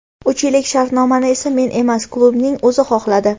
Uch yillik shartnomani esa men emas, klubning o‘zi xohladi.